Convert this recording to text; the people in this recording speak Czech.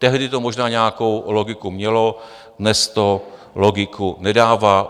Tehdy to možná nějakou logiku mělo, dnes to logiku nedává.